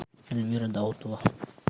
эльмира даутова